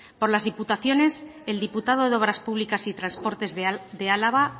por las diputaciones el diputado de obras públicas y transportes de álava